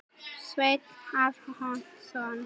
Sveinn Arason.